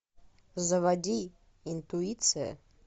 заводи интуиция